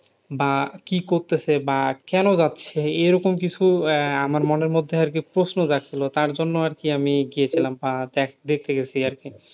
বা কি করতেছে বা কেন যাচ্ছে? এরকম কিছু আহ আমার মনের মধ্যে প্রশ্ন জাগছিল। তার জন্য আরকি আমি গিয়েছিলাম বা দেখতে গেছি আরকি।